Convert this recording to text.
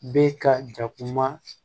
Bɛ ka jakuma